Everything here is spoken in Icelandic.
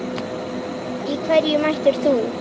Í hverju mætir þú?